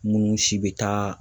Munnu si be taa